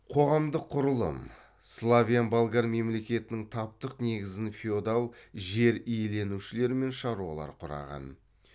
қоғамдық құрылым славян болгар мемлекетінің таптық негізін феодал жер иеленушілер мен шаруалар құраған